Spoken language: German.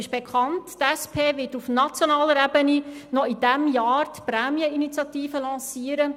Bekanntlich wird die SP auf nationaler Ebene noch in diesem Jahr die «Prämieninitiative» lancieren.